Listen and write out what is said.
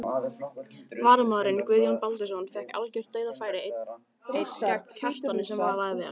Varamaðurinn Guðjón Baldvinsson fékk algjört dauðafæri einn gegn Kjartani sem varði vel.